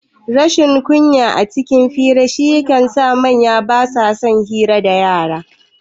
Rashin kunya cikin hira shi ya sa manya basa son hira dayara